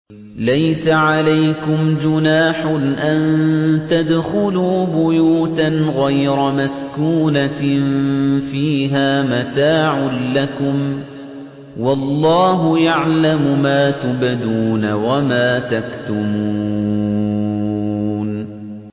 لَّيْسَ عَلَيْكُمْ جُنَاحٌ أَن تَدْخُلُوا بُيُوتًا غَيْرَ مَسْكُونَةٍ فِيهَا مَتَاعٌ لَّكُمْ ۚ وَاللَّهُ يَعْلَمُ مَا تُبْدُونَ وَمَا تَكْتُمُونَ